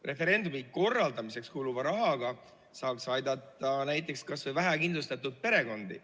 Referendumi korraldamiseks kuluva rahaga saaks aidata kas või vähekindlustatud perekondi.